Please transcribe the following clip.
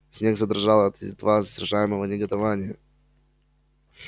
снегг задрожал от едва сдерживаемого негодования